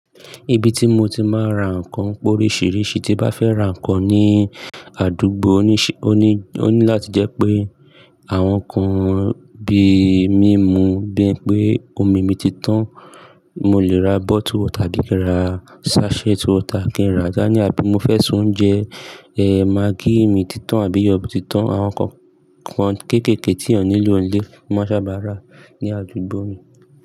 Ibi tí mo ti máa ń ra nǹkan pọ̀ oríṣiríṣi tí bá fẹ́ ra nǹkan ní àdúgbò oní láti jẹ pẹ́ àwọn nkan bíi mímu, bí wípé omi mi ti tán, mo lè ra omi inú ike kí n ra dání tàbí mo fẹ́ ṣe ohùnjẹ eh maggi mi ti tán àbí iyọ̀ ti tán, àwọn nǹkan kéékèèké tí ènìyàn nílò ní ilé máa sábà rà ní àdúgbò mi.